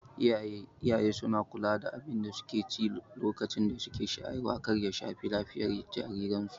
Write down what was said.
Iyaye suna kula da abinda suke ci lokacin da suke shayarwa kar ya shafi lafiyan jariran su